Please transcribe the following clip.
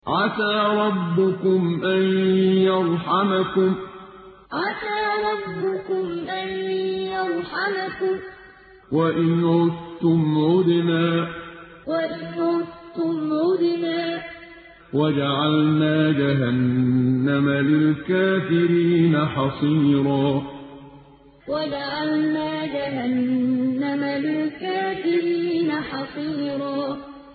عَسَىٰ رَبُّكُمْ أَن يَرْحَمَكُمْ ۚ وَإِنْ عُدتُّمْ عُدْنَا ۘ وَجَعَلْنَا جَهَنَّمَ لِلْكَافِرِينَ حَصِيرًا عَسَىٰ رَبُّكُمْ أَن يَرْحَمَكُمْ ۚ وَإِنْ عُدتُّمْ عُدْنَا ۘ وَجَعَلْنَا جَهَنَّمَ لِلْكَافِرِينَ حَصِيرًا